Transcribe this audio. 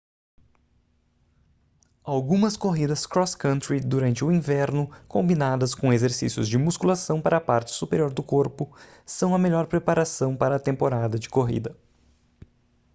algumas corridas cross country durante o inverno combinadas com exercícios de musculação para a parte superior do corpo são a melhor preparação para a temporada de corrida